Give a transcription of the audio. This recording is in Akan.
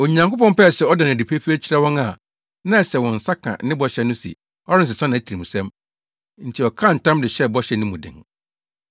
Onyankopɔn pɛɛ sɛ ɔda no adi pefee kyerɛ wɔn a na ɛsɛ sɛ wɔn nsa ka ne bɔhyɛ no se ɔrensesa nʼatirimsɛm, nti ɔkaa ntam de hyɛɛ bɔhyɛ no mu den.